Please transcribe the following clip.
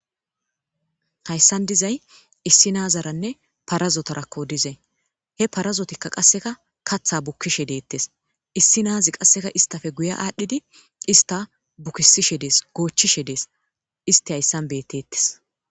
Haysan dizay issi nazaranne parazotarakko hizay. He parazotka qaseka katha bukishe detes. Issi naz qaseka issitappe guye adhid ista bukisishe Des, gochishe Des, ist haysan betetes.